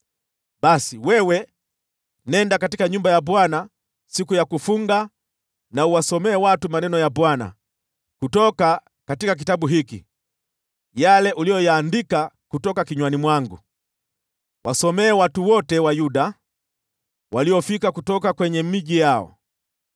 Basi wewe nenda katika nyumba ya Bwana siku ya kufunga, uwasomee watu maneno ya Bwana kutoka kitabu hiki yale uliyoyaandika kutoka kinywani mwangu. Wasomee watu wote wa Yuda waliofika kutoka miji yao.